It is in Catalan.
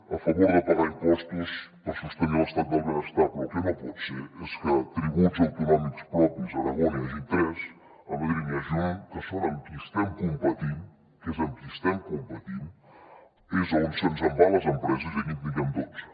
a favor de pagar impostos per sostenir l’estat del benestar però el que no pot ser és que tributs autonòmics propis a aragó n’hi hagi tres a madrid n’hi hagi un que són amb qui estem competint que és amb qui estem competint és on se’ns en van les empreses i aquí en tinguem dotze